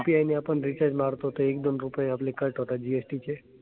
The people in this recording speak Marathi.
UPI ने आपण recharge मारतो ते एक, दोन रुपये आपले cut होतात GST चे.